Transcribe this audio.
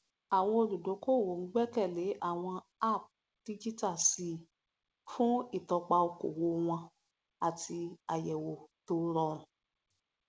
àwọn olùdókòwò ń gbẹkẹle àwọn app díjítà síi fún ìtọpa okòwò wọn àti àyẹwò tó rọrùn